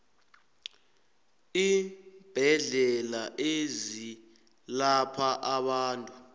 iimbedlela ezelapha abantu